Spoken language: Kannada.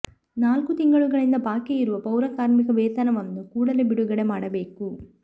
ನಾಲ್ಕು ತಿಂಗಳಿಂದ ಬಾಕಿ ಇರುವ ಪೌರ ಕಾರ್ಮಿಕ ವೇತನವನ್ನು ಕೂಡಲೇ ಬಿಡುಗಡೆ ಮಾಡಬೇಕು